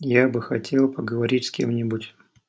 я бы хотел поговорить с кем-нибудь